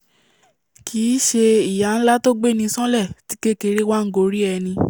kìí ṣe ìyà nlá tó gbéni ṣánlẹ̀ tí kékèké wá ngorí ẹni